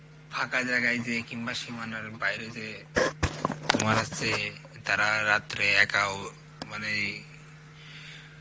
ফাঁকা জায়গায় যেয়ে বা সীমানার বাইরে যেয়ে তোমার হস্সে তারা রাত্রে একা মানে